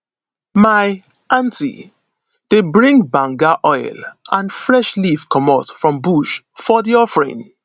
my auntie dey bring banga oil and fresh leaf comot from bush for di offering